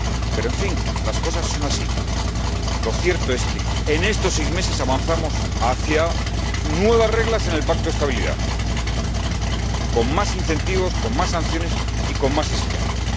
Pero, en fin, las cosas son así. Lo cierto es que, en estos seis meses, hemos avanzado hacia nuevas reglas en el Pacto de Estabilidad, con más incentivos, con más sanciones y con más exigencias.